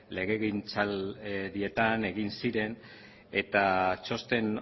legegintzaldietan egin ziren eta txosten